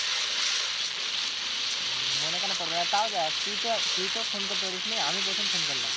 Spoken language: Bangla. মনে কেন পড়বে না তাও দেখ তুই তো, তুই তো phone করতে পারিসনি আমি প্রথম phone করলাম।